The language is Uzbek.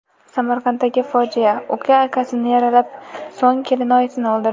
Samarqanddagi fojia: Uka akasini yaralab, so‘ng kelinoyisini o‘ldirdi.